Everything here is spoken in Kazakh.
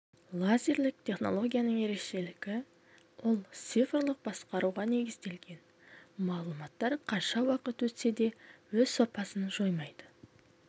лазерлік технологияның ерекшелігі ол цифрлық басқаруға негізделген мағлұматтар қанша уақыт өтсе де өз сапасын жоймайды